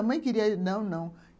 A mãe queria... Não, não.